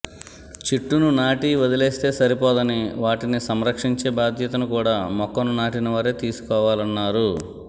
చెట్టును నాటి వదిలేస్తే సరిపోదని వాటిని సంరక్షించే బాధ్యతను కూడా మొక్కను నాటినవారే తీసుకోవాలన్నారు